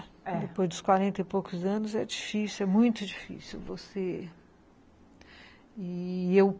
É, depois dos quarenta e poucos anos, é difícil, é muito difícil você e eu